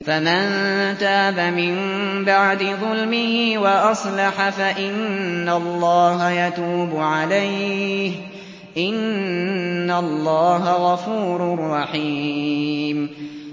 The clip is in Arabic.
فَمَن تَابَ مِن بَعْدِ ظُلْمِهِ وَأَصْلَحَ فَإِنَّ اللَّهَ يَتُوبُ عَلَيْهِ ۗ إِنَّ اللَّهَ غَفُورٌ رَّحِيمٌ